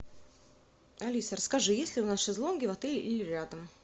алиса расскажи есть ли у нас шезлонги в отеле или рядом